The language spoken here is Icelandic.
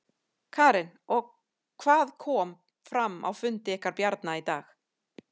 Karen: Og hvað kom fram á fundi ykkar Bjarna í dag?